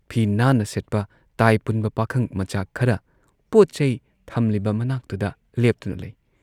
ꯐꯤ ꯅꯥꯟꯅ ꯁꯦꯠꯄ ꯇꯥꯏ ꯄꯨꯟꯕ ꯄꯥꯈꯪꯃꯆꯥ ꯈꯔ ꯄꯣꯠꯆꯩ ꯊꯝꯂꯤꯕ ꯃꯅꯥꯛꯇꯨꯗ ꯂꯦꯞꯇꯨꯅ ꯂꯩ ꯫